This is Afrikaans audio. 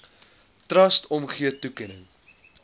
trust omgee toekenning